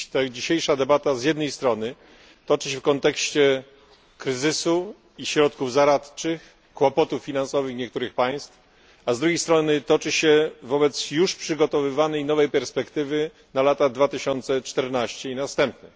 Dzisiejsza debata z jednej strony toczy się w kontekście kryzysu i środków zaradczych, kłopotów finansowych niektórych państw, a z drugiej strony toczy się wobec już przygotowywanej nowej perspektywy na lata 2014 i następne.